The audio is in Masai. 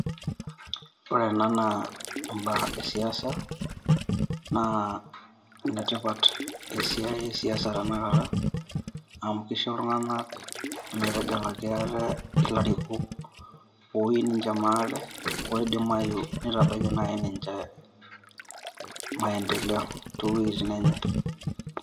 Ore ena naa imbaa e siasa naa nnetipat esiai e siasa tenakata amu kisho iltung`anak metegelaki ate ilarikok ooyieu ninche maate. Oidimayu nitabaiki naaji ninche maendeleo too wuejitin enye.